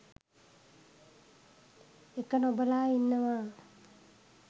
එක නොබලා ඉන්නවා